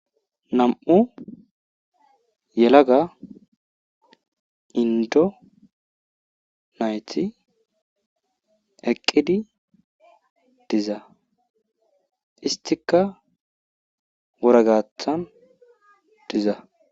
nam7u yelaga indonayti eqqidi diza istika woragathan diza